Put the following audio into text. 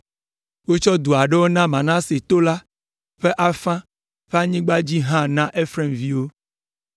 Wotsɔ du aɖewo tso Manase to la ƒe afã ƒe anyigba dzi hã na Efraim ƒe viwo.